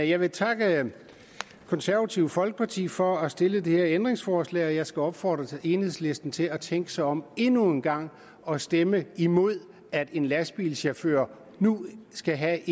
jeg vil takke det konservative folkeparti for at stille det her ændringsforslag og jeg skal opfordre enhedslisten til at tænke sig om endnu en gang og stemme imod at en lastbilchauffør nu skal have